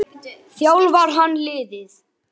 Þjálfar hann liðið?